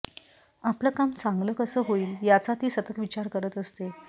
आपलं काम चांगलं कसं होईल याचा ती सतत विचार करत असते